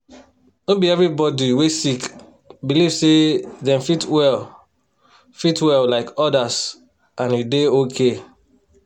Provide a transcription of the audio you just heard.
no be everybody wey sick believe say dem fit well fit well like others and e dey okay